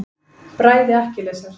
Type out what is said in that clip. Bræði Akkilesar.